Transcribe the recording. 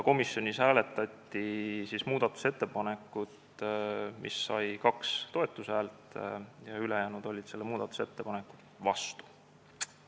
Komisjonis hääletati ühte muudatusettepanekut, mis sai 2 toetushäält, ülejäänud olid selle vastu.